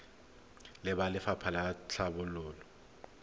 le ba lefapha la tlhabololo